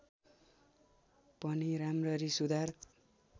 पनि राम्ररी सुधार